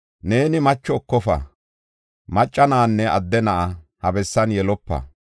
“Neeni macho ekofa; macca na7anne adde na7a ha bessan yelopa.